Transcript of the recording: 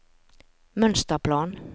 mønsterplan